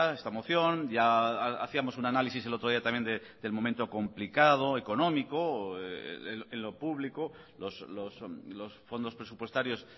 esta moción ya hacíamos un análisis el otro día también del momento complicado económico o en lo público los fondos presupuestarios